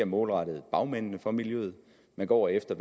målrettet bagmændene fra miljøet man går efter